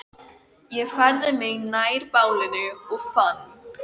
Ég færði mig nær bálinu og fann